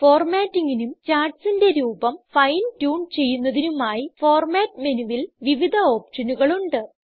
formattingനും ചാർട്ട്സിന്റെ രൂപം fine tune ചെയ്യുന്നതിനുമായി ഫോർമാറ്റ് മെനുവിൽ വിവിധ ഓപ്ഷനുകൾ ഉണ്ട്